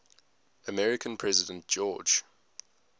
american president george